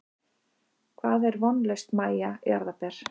Hvað er vonlaust Mæja jarðaber?